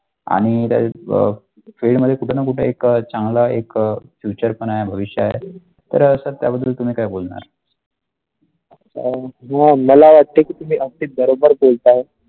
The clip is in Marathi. आणि तर वर field मध्ये कुठे ना कुठे एक चांगला एक future पण आहते भविष्य आहे तर असे त्याबद्दल तुम्ही काय बोलणार अ आह मला वाटते की तुम्ही बरोबर बोलता.